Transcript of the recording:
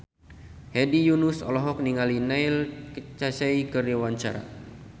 Hedi Yunus olohok ningali Neil Casey keur diwawancara